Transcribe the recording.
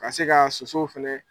Ka se ka sosow fɛnɛ